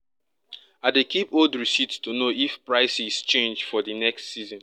i dey keep old receipts to know if prices change for di next season